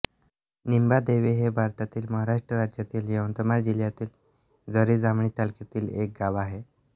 निंबादेवी हे भारतातील महाराष्ट्र राज्यातील यवतमाळ जिल्ह्यातील झरी जामणी तालुक्यातील एक गाव आहे